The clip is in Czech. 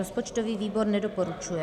Rozpočtový výbor nedoporučuje.